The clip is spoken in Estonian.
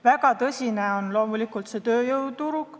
Väga tõsine on loomulikult tööjõuküsimus.